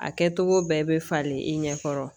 A kɛcogo bɛɛ bɛ falen i ɲɛ kɔrɔ